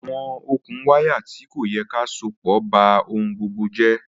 Awọn okùn wàyá tì kọ̀ ti à sọ̀pọ̀ bá ọhun gbogbo jẹ̀.